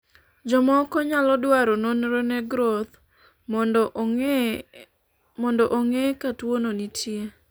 jomoko nyalo dwaro nonro ne groth mondo ong'e ka tuono nitie